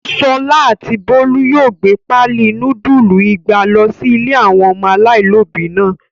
Ṣọlá àti Bólú yóò gbé páálí núdúlù igba lọ sí ilé àwọn ọmọ aláìlóòbí náà.